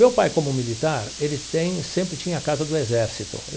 Meu pai, como militar, ele tem sempre tinha a casa do exército.